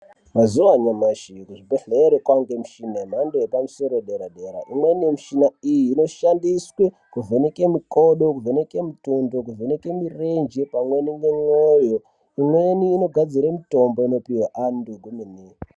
Mazuva anyamashi kuzvibhehlera kwaane michina yemhando yepadera dera. lmweni yemichina iyi inoshandiswe kuvheneka mikodo, kuvheneke mitundu, kuvheneke mirenje pamwe nemoyo. Pamweni inogadzire mitombo inopihwe antu kuti amwe.